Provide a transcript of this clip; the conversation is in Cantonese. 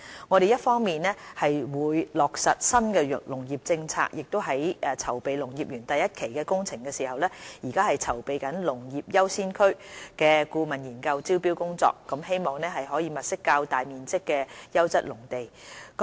我們會落實新農業政策，在籌備農業園第一期工程之餘，亦正籌備"農業優先區"顧問研究的招標工作，希望可以物色較大面積的優質農地。